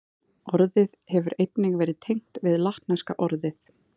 Orðið hefur einnig verið tengt við latneska orðið